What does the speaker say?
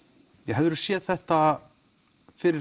hefðiru séð þetta fyrir